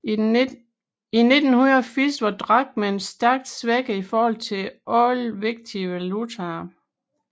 I 1980 var drakmen stærkt svækket i forhold til alle vigtige valutaer